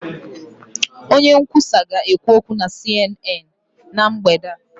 Onye nkwusa ga-ekwu okwu na CNN na mgbede a.